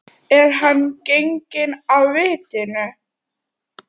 Er hann genginn af vitinu?